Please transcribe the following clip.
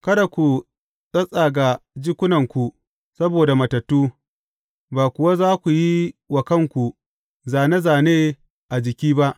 Kada ku tsattsaga jikunanku saboda matattu, ba kuwa za ku yi wa kanku zāne zāne a jiki ba.